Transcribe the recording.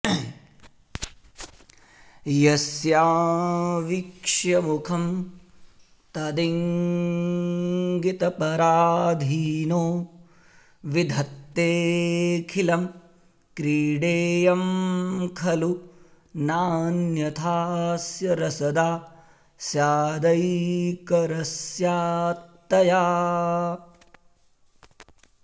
यस्या वीक्ष्य मुखं तदिङ्गितपराधीनो विधत्तेऽखिलं क्रीडेयं खलु नान्यथाऽस्य रसदा स्यादैकरस्यात्तया